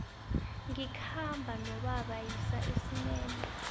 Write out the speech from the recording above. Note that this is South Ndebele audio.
ngikhamba nobaba siya esinema